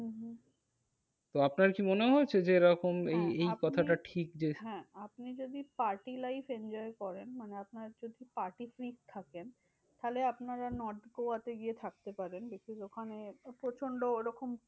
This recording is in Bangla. তো আপনার কি মনে হয়েছে যে এরকম হ্যাঁ আপনি এই এই কথা টা ঠিক যে হ্যাঁ আপনি যদি party life enjoy করেন মানে আপনার যদি party থাকেন তাহলে আপনারা north গোয়াতে গিয়ে থাকতে পারেন। because ওখানে প্রচন্ড ওরকম